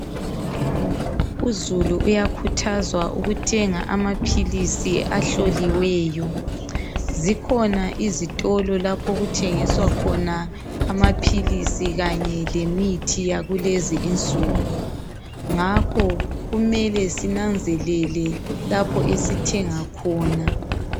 Uzulu uyakhuthazwa ukuthenga amaphilisi ahloliweyo. Zikhona izitolo lapho okuthengiswa khona amaphilisi kanye lemithi yakulezinsuku. Ngakho kumele sinanzelele lapho esithenga khona.